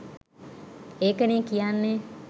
ඒකනේ කියන්නෙ